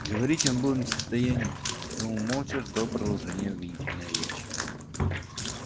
говорить он был не в состоянии и потому молча ждал продолжения обвинительной речи